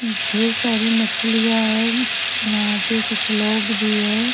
उम ढेर सारी मछलियाँ है यहाँ पे कुछ लोग भी है।